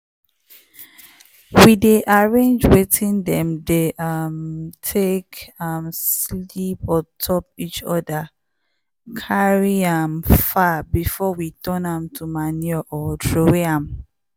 we dey arrange watin dem dey um take um sleep on top each other carry um am far before we turn am to manure or throway am.